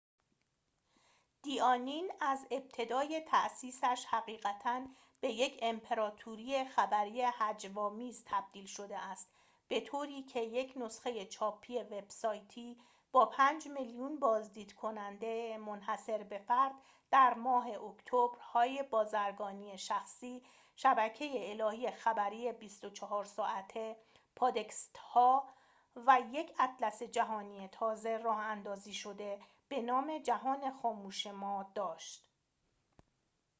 «دی آنین» از ابتدای تأسیسش حقیقتاً به یک امپراتوری خبری هجوآمیز تبدیل شده است، به‌طوری که یک نسخه چاپی، وب‌سایتی با 5,000,000 بازدیدکننده منحصربه‌فرد در ماه اکتبر، آگهی‎‌های بازرگانی شخصی، شبکه خبری 24 ساعته، پادکست‌ها، و یک اطلس جهانی تازه راه‌اندازی شده به نام «جهان خاموش ما» داشت